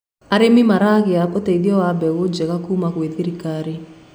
arĩmi maragia uteithio wa mbegũ njega kuma gwi thirikari